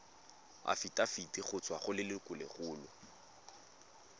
afitafiti go tswa go lelokolegolo